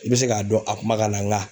I bɛ se k'a dɔn a kuma kan na nga